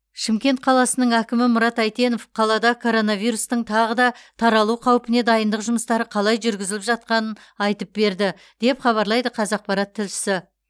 шымкент қаласының әкімі мұрат әйтенов қалада коронавирустың тағы да таралу қаупіне дайындық жұмыстары қалай жүргізіліп жатқанын айтып берді деп хабарлайды қазақпарат тілшісі